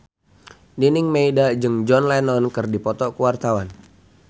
Nining Meida jeung John Lennon keur dipoto ku wartawan